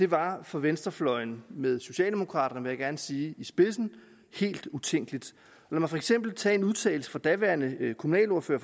var for venstrefløjen med socialdemokraterne vil jeg gerne sige i spidsen helt utænkeligt lad mig for eksempel tage en udtalelse fra daværende kommunalordfører